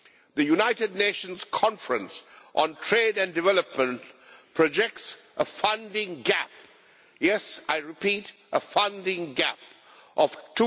The United Nations Conference on Trade and Development projects a funding gap yes, I repeat, a funding gap of USD